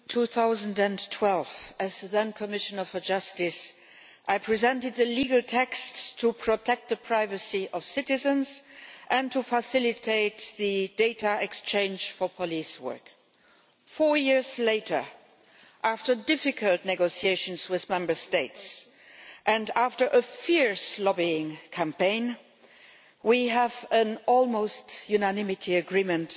Madam President, in 2012 as the then Commissioner for Justice, I presented the legal text to protect the privacy of citizens and to facilitate data exchange for police work. Four years later, after difficult negotiations with Member States and after a fierce lobbying campaign, we have an almost unanimous agreement.